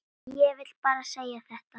Ég vil bara segja þetta.